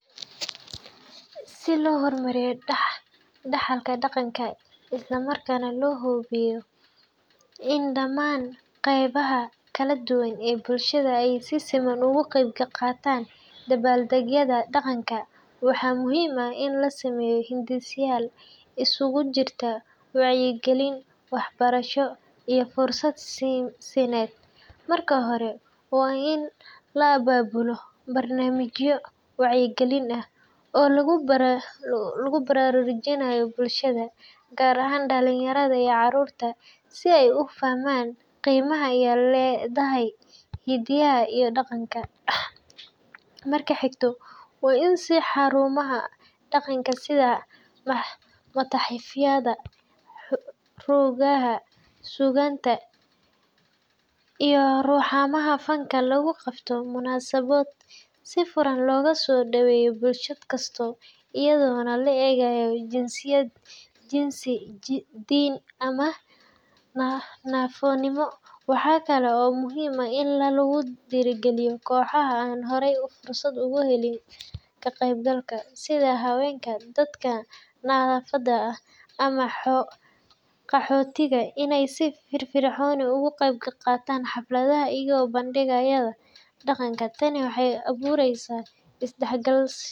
Si loo horumariyo dhaxalka dhaqanka isla markaana loo hubiyo in dhammaan qaybaha kala duwan ee bulshada ay si siman uga qayb qaataan dabaaldegyada dhaqanka, waxaa muhiim ah in la sameeyo hindiseyaal isugu jira wacyigelin, waxbarasho, iyo fursad siineed. Marka hore, waa in la abaabulo barnaamijyo wacyigelin ah oo lagu baraarujinayo bulshada, gaar ahaan dhalinyarada iyo carruurta, si ay u fahmaan qiimaha ay leedahay hiddaha iyo dhaqanka. Marka xigta, waa in xarumaha dhaqanka sida matxafyada, rugaha suugaanta, iyo xarumaha fanka lagu qabtaa munaasabado si furan loogu soo dhoweeyo bulsho kasta, iyadoon loo eegayn jinsiyad, jinsi, diin, ama naafonimo. Waxaa kale oo muhiim ah in lagu dhiirrigeliyo kooxaha aan horey fursad ugu helin ka qaybgalka – sida haweenka, dadka naafada ah, ama qaxootiga – in ay si firfircoon uga qaybqaataan xafladaha iyo bandhigyada dhaqanka. Tani waxay abuuraysaa isdhexgal.